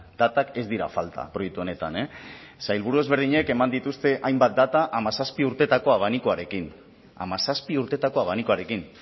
datak ez dira falta proiektu honetan sailburu ezberdinak eman dituzte hainbat data hamazazpi urteetako abanikoarekin hamazazpi urteetako abanikoarekin